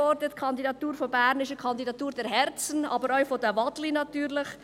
Die Kandidatur von Bern ist eine Kandidatur der Herzen, aber natürlich auch der Waden.